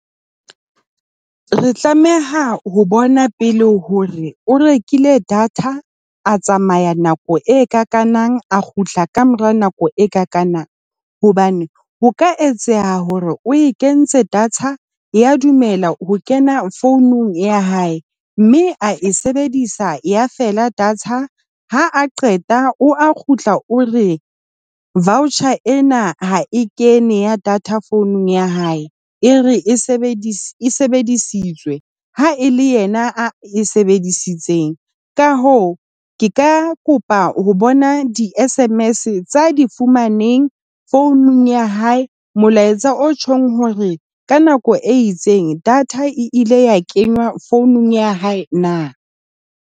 Re tlameha ho bona pele hore o rekile data a tsamaya nako e ka ikanang a kgutla ka mora nako e ka kanang hobane ho ka etseha hore o e kentse data. Ya dumela ho kena founung ya hae mme a e sebedisa ya fela data ha a qeta o a kgutla o re voucher ena ha e kene ya data founung ya hae. E re e sebedisitsweng ha e le yena e sebedisitseng. Ka hoo ke ka kopa ho bona di-sms tsa di fumaneng founung ya hae. Molaetsa o tjhong hore ka nako e itseng data e ile ya kenya founung ya hae na.